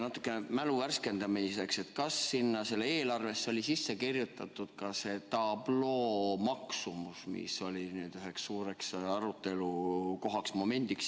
Natuke mälu värskendamiseks: kas sinna eelarvesse oli sisse kirjutatud ka selle tabloo maksumus, mis oli üheks suureks arutelukohaks?